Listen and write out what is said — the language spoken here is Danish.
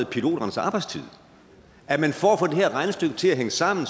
piloternes arbejdstid for at få det her regnestykke til at hænge sammen